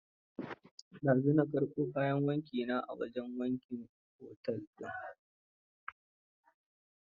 Dazu na karɓo kayan wanki na a wajen wankin otel din